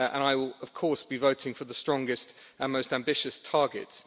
I will, of course, be voting for the strongest and most ambitious targets.